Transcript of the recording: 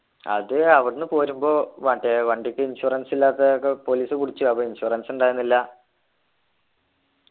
അത് അവിടെന്നു പോരുമ്പോ മറ്റേ വണ്ടിക്ക് insurance ഇല്ലാത്ത ഒക്കെ police പിടിച്ചു അപ്പൊ insurance ഇണ്ടായിരുന്നില്ല